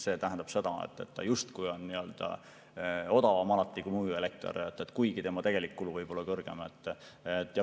See tähendab seda, et ta justkui on alati odavam kui muu elekter, kuigi tema tegelik kulu võib olla suurem.